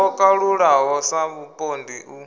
ho kalulaho sa vhupondi u